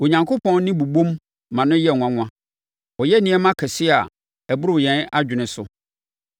Onyankopɔn nne bobom ma no yɛ nwanwa; ɔyɛ nneɛma akɛseɛ a ɛboro yɛn adwene so.